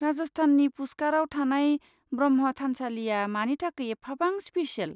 राजस्थाननि पुस्कारआव थानाय ब्रह्मा थानसालिया मानि थाखाय एफाबां स्पेसियेल?